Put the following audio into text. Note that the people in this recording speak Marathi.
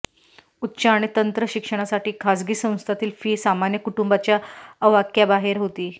उच्च आणि तंत्र शिक्षणासाठी खासगी संस्थांतील फी सामान्य कुटुंबाच्या अवाक्याबाहेर होती